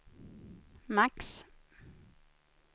max